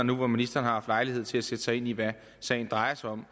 nu hvor ministeren har haft lejlighed til at sætte sig ind i hvad sagen drejer sig om og